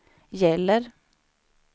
gäller